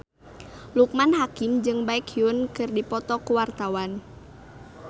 Loekman Hakim jeung Baekhyun keur dipoto ku wartawan